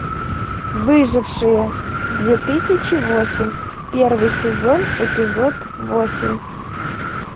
выжившие две тысячи восемь первый сезон эпизод восемь